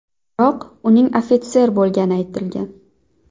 Biroq, uning ofitser bo‘lgani aytilgan.